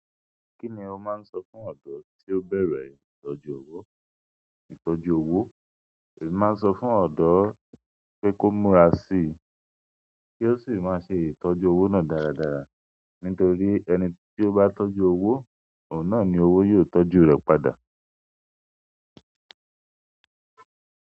Kí ni o máa ń sọ fún ọ̀dọ́ tí ó bẹ̀rẹ̀ ìtọ́jú owó? Ìtọ́jú owó, èmi máa ń sọ fún ọ̀dọ́ pé kó múra síi kí ó sì máa ṣe ìtọ́jú owó náà dáradára nítorí ẹni tí ó bá tọ́jú owó, òun náà ni owó yóò tọ́jú rẹ̀ padà.